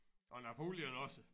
Og Napoleon også